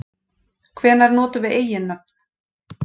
Hvenær notum við eiginnöfn?